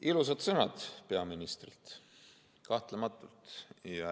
Ilusad sõnad peaministrilt kahtlematult.